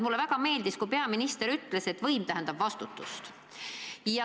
Mulle väga meeldis, kui peaminister ütles, et võim tähendab vastutust.